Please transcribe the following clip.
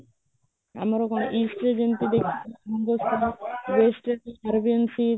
ଆମର କଣ east ରେ ଯେମିତି west ରେ ତାରବି ଏମିତି